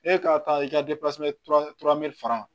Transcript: E ka taa i ka faga